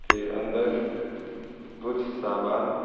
के अंदर कुछ सामान--